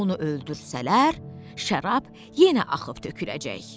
Onu öldürsələr, şərab yenə axıb töküləcək.